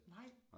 Nej